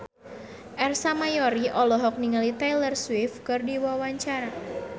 Ersa Mayori olohok ningali Taylor Swift keur diwawancara